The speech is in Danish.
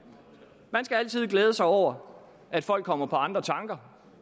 man skal altid glæde sig over at folk kommer på andre tanker